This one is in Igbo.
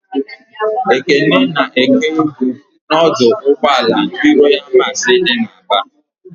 Ekene na-èké ibu n'ọdụ ụgbọala ndị Royalụ Masị dị n'Aba.